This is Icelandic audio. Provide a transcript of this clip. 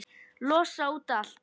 Losa út allt.